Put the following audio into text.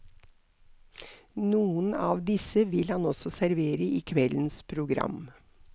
Noen av disse vil han også servere i kveldens program.